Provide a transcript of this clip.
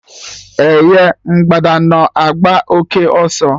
Eh ye! Mgbada na-agba òké ọsọ